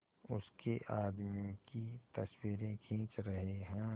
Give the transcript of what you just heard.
उसके आदमियों की तस्वीरें खींच रहे हैं